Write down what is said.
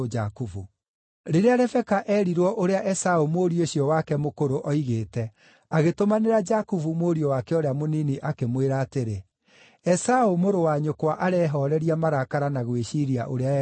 Rĩrĩa Rebeka eerirwo ũrĩa Esaũ mũriũ ũcio wake mũkũrũ oigĩte, agĩtũmanĩra Jakubu mũriũ wake ũrĩa mũnini, akĩmwĩra atĩrĩ, “Esaũ mũrũ wa nyũkwa arehooreria marakara na gwĩciiria ũrĩa egũkũũraga.